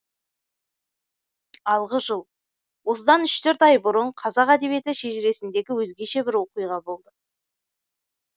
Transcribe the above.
алғы жыл осыдан үш төрт ай бұрын қазақ әдебиеті шежіресіндегі өзгеше бір оқиға болды